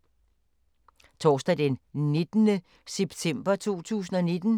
Torsdag d. 19. september 2019